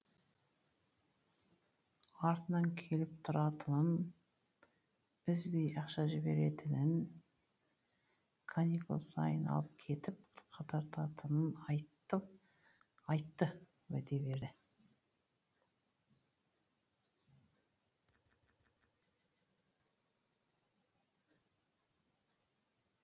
артынан келіп тұратынын үзбей ақша жіберетінін каникул сайын алып кетіп қыдыртатынын айтты айтты уәде берді